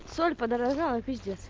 соль подорожала пиздец